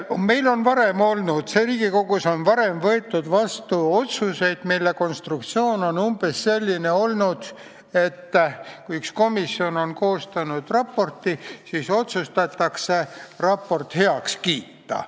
Meil on Riigikogus varem võetud vastu otsuseid, mille konstruktsioon on olnud umbes selline, et kui komisjon on koostanud raporti, siis otsustatakse see raport heaks kiita.